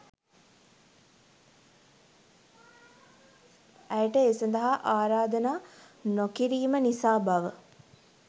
ඇයට ඒ සදහා ආරාධනා නොකිරීම නිසා බව